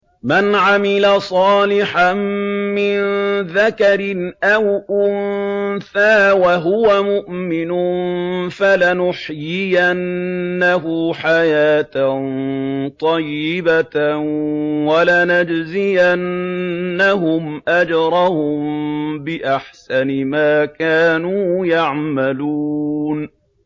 مَنْ عَمِلَ صَالِحًا مِّن ذَكَرٍ أَوْ أُنثَىٰ وَهُوَ مُؤْمِنٌ فَلَنُحْيِيَنَّهُ حَيَاةً طَيِّبَةً ۖ وَلَنَجْزِيَنَّهُمْ أَجْرَهُم بِأَحْسَنِ مَا كَانُوا يَعْمَلُونَ